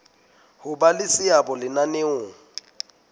ho ba le seabo lenaneong